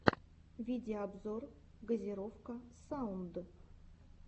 видеообзор газировка саунд